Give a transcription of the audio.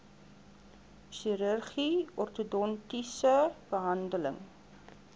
chirurgie ortodontiese behandeling